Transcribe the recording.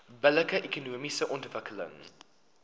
billike ekonomiese ontwikkeling